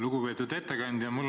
Lugupeetud ettekandja!